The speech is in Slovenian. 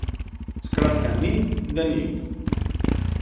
Skratka ni, da ni.